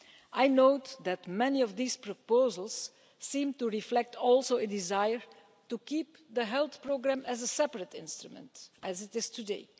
ESF. I note that many of these proposals seem to reflect a desire to keep the health programme as a separate instrument, as it is